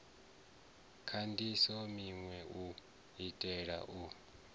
kandise minwe u itela u